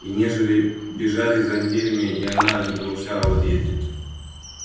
и недели бежали за неделями а она и не помышляла об отъезде